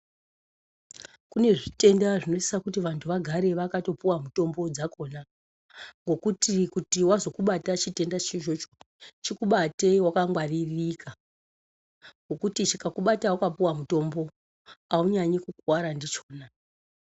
Kune zvitenda zvinosisa kuti vanthu vagare vakatopuwa mutombo dzakhona ngokuti kuti wazokubata chitenda cho ichocho chikubate wakangwaririka ngekuti chikakubata wakapuwa mutombo aunyanyi kukuwara ndichona.